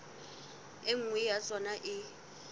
e nngwe ya tsona e